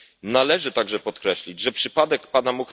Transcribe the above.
Należy także podkreślić, że przypadek A.